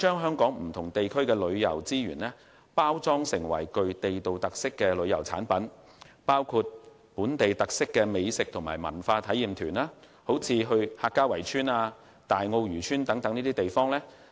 香港不同地區的旅遊資源，應包裝成具地道特色的旅遊產品，以推廣具本地特色的美食和文化體驗團，如客家圍村、大澳漁村等便是好例子。